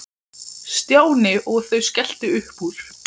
Stjáni og þau skelltu upp úr.